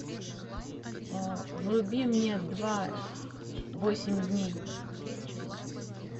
вруби мне два восемь дней